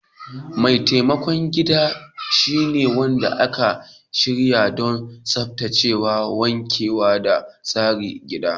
Mai taimakon gida shine wanda aka shirya don tsaftacewa, wankewa da tsara gida.